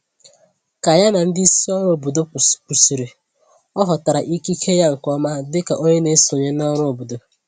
Ka ya na ndị isi òrụ́ obodo kwụsịrị, ọ ghọtara ikike ya nke ọma dịka onye na-esonye n’ọrụ obodo